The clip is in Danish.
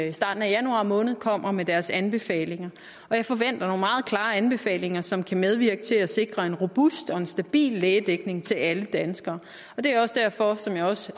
i starten af januar måned kommer med deres anbefalinger og jeg forventer nogle meget klare anbefalinger som kan medvirke til at sikre en robust og en stabil lægedækning til alle danskere det er også derfor som jeg også